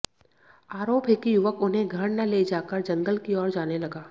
आरोप है कि युवक उन्हें घर न ले जाकर जंगल की ओर जाने लगा